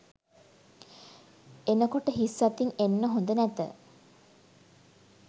එනකොට හිස් අතින් එන්න හොද නැත